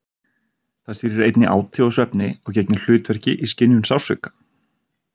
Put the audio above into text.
Það stýrir einnig áti og svefni og gegnir hlutverki í skynjun sársauka.